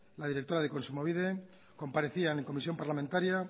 la directora de kontsumobide comparecía en comisión parlamentaria